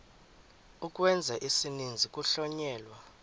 ukwenza isininzi kuhlonyelwa